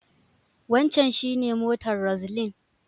Wancan shi ne motar Roseline.